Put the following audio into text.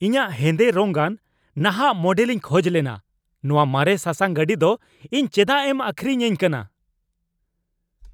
ᱤᱧᱟᱜ ᱦᱮᱸᱫᱮ ᱨᱚᱝᱟᱱ ᱱᱟᱦᱟᱜ ᱢᱚᱰᱮᱞᱤᱧ ᱠᱷᱚᱡ ᱞᱮᱱᱟ ᱾ ᱱᱚᱣᱟ ᱢᱟᱨᱮ ᱥᱟᱥᱟᱝ ᱜᱟᱹᱰᱤ ᱫᱚ ᱤᱧ ᱪᱮᱫᱟᱜ ᱮᱢ ᱟᱹᱠᱷᱨᱤᱧ ᱟᱹᱧ ᱠᱟᱱᱟ ᱾